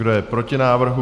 Kdo je proti návrhu?